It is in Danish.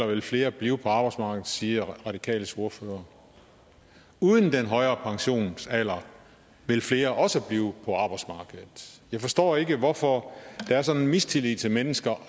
vil flere blive på arbejdsmarkedet siger radikales ordfører uden den højere pensionsalder vil flere også blive på arbejdsmarkedet jeg forstår ikke hvorfor der er sådan en mistillid til mennesker